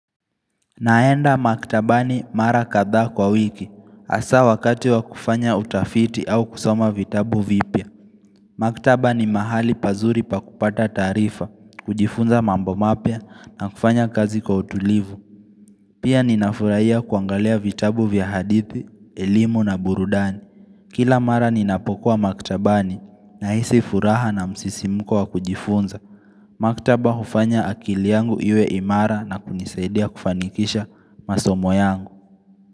Naenda maktabani mara kadhaa kwa wiki. Hasa wakati wa kufanya utafiti au kusoma vitabu vipya. Maktaba ni mahali pazuri pa kupata taarifa, kujifunza mambo mapya na kufanya kazi kwa utulivu. Pia ninafurahiya kuangalia vitabu vya hadithi, elimu na burudani. Kila mara ninapokua maktabani nahisi furaha na msisimuko wa kujifunza. Maktaba hufanya akili yangu iwe imara na kunisaidia kufanikisha masomo yangu.